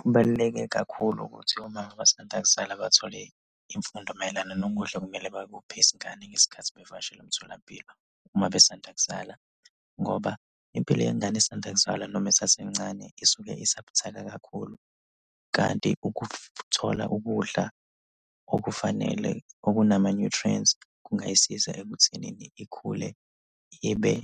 Kubaluleke kakhulu ukuthi omama abasanda kuzala bathole imfundo mayelana nokudla okumele bakuphe izingane ngesikhathi bevakashele emtholampilo. Uma besanda kuzala ngoba impilo yengane esanda kuzalwa noma esasencane isuke isabuthaka kakhulu, kanti ukuthola ukudla okufanele okunama-nutrients kungayisiza ekuthenini ikhule ibe